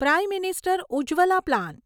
prime minister Ujjwala plan